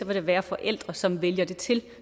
der være forældre som vælger det til og